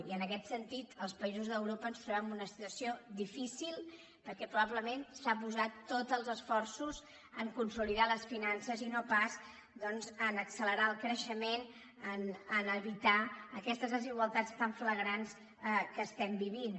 i en aquest sentit els països d’europa ens trobem en una situació difícil perquè probablement s’han posat tots els esforços a consolidar les finances i no pas doncs a accelerar el creixement a evitar aquestes desigualtats tan flagrants que estem vivint